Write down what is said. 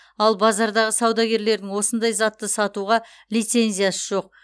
ал базардағы саудагерлердің осындай затты сатуға лицензиясы жоқ